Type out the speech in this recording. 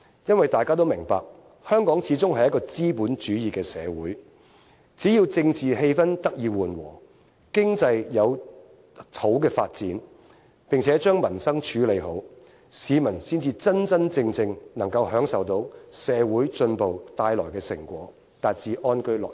因為大家都明白，香港始終是一個資本主義的社會，只要政治氣氛得以緩和，經濟有好的發展，並且將民生處理好，市民才真真正正能夠享受到社會進步帶來的成果，達至安居樂業。